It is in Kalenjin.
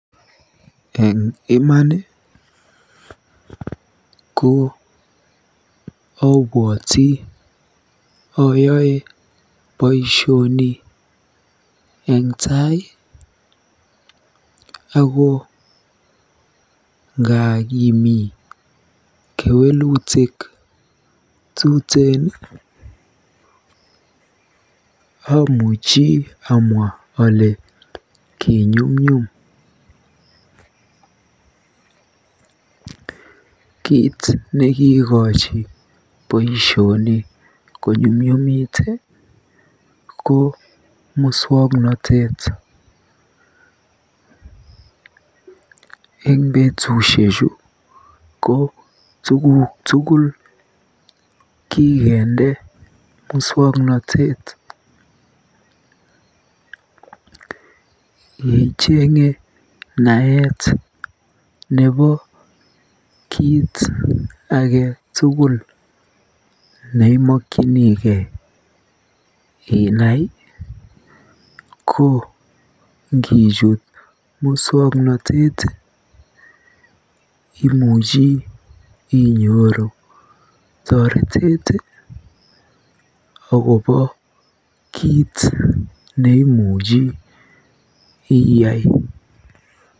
Eng iman ko abwoti ayoe boisioni eng tai ako ngaa kimi kewelutik tuteen amuchi amwa ale kinyumnyum. kiit nekiikochi boisioni konyumnyumit ko muswoknotet. Eng betushechu ko tuguk tugul kikende muswoknotet. Yeichenge net nebo kiy age tugul neimokyinigei inai ko ngijut muswoknotet imuchi inyoru toretet akobo kiit neimuchi iyai.